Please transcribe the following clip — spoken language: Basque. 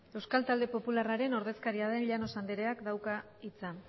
euskal talde popularraren ordezkaria den llanos andreak dauka hitza